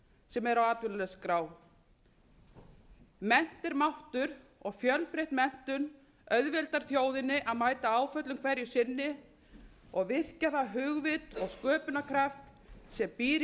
sem er á atvinnuleysisskrá mennt er máttur og fjölbreytt menntun auðveldar þjóðinni að mæta áföllum hverju sinni og virkja það hugvit og sköpunarkraft sem býr í